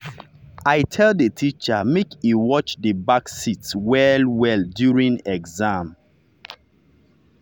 i tell the teacher make e watch the back seats well well during exam.